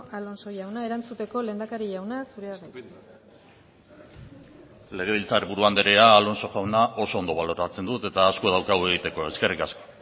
alonso jauna erantzuteko lehendakari jauna zurea da hitza legebiltzar buru andrea alonso jauna oso ondo baloratzen du eta asko daukagu egiteko eskerrik asko